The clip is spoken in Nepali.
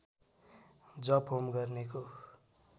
जप होम गर्नेको